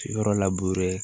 Yɔrɔ laburere